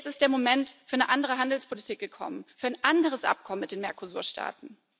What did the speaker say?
Jetzt ist der Moment für eine andere Handelspolitik gekommen, für ein anderes Abkommen mit den Mercosur Staaten.